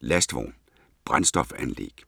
Lastvogn - Brændstofanlæg